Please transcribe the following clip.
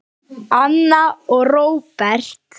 Anna og Róbert.